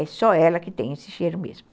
É só ela que tem esse cheiro mesmo.